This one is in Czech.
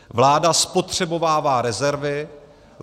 Vláda spotřebovává rezervy.